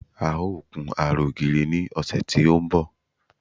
A ó kun ara ògiri ní ọ̀sẹ̀ tí ó ń bọ̀